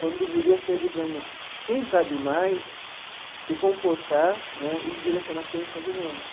Quando deveria ser, digamos, quem sabe mais se comportar né e direcionar quem sabe menos.